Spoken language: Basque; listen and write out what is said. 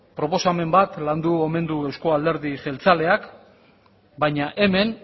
proposamen bat landu omen du euzko alderdi jeltzaleak baina hemen